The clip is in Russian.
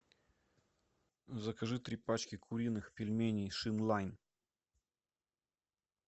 закажи три пачки куриных пельменей шин лайн